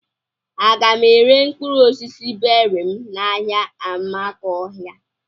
Aga m ere mkpụrụ osisi beri m n'ahia Amakohia?